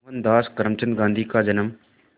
मोहनदास करमचंद गांधी का जन्म